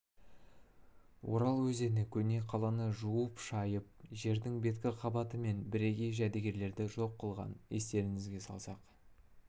орал өзені көне қаланы жуып-шайып жердің беткі қабаты мен бірегей жәдігерлерді жоқ қылған естеріңізге салсақ